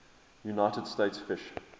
united states fish